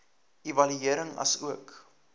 evaluering asook